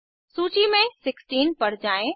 सूचि में 16 पर जाएँ